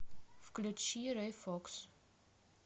включи рэй фокс